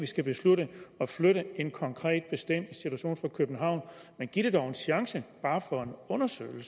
skal beslutte at flytte en konkret bestemt institution fra københavn men giv det dog en chance bare for at undersøge det